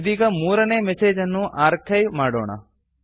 ಇದೀಗ 3 ನೇ ಮೆಸೇಜ್ ಅನ್ನು ಆರ್ಕೈವ್ ಆರ್ಚಿವ್ ಮಾಡೋಣ